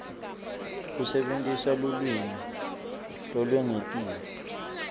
kusebentisa lulwimi lolwengetiwe